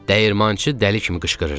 Dəyirmançı dəli kimi qışqırırdı.